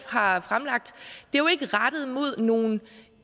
har fremsat jo ikke rettet mod nogle